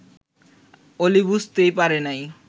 অলি বুঝতেই পারে নাই